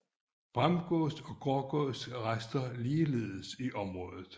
Bramgås og Grågås raster ligeledes i området